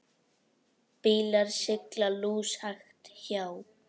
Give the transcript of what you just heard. Bílar sigla lúshægt hjá.